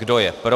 Kdo je pro.